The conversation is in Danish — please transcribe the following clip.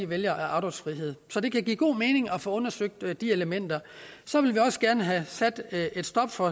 vælger afdragsfrihed så det kan give god mening at få undersøgt de elementer så vil vi også gerne have sat et stop for